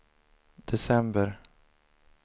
december